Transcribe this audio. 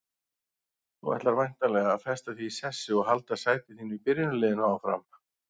Þú ætlar væntanlega að festa þig í sessi og halda sæti þínu í byrjunarliðinu áfram?